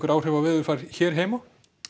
áhrif á veðurfar hér heima